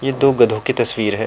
ये दो गधों की तस्वीर है।